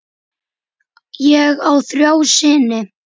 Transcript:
Ég á þrjá syni.